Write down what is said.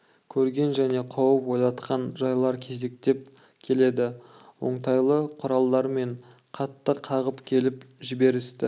көрген және қауіп ойлатқан жайлар кезектеп келеді оңтайлы құралдармен қатты қағып келіп жіберісті